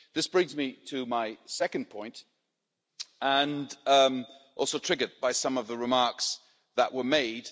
This brings me to my second point, and also triggered by some of the remarks that were made.